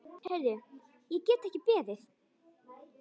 Heyrðu, ég get ekki beðið.